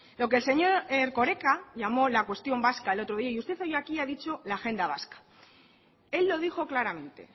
lo que el señor erkoreka llamo la cuestión vasca el otro día y usted hoy aquí ha dicho la agenda vasca él lo dijo claramente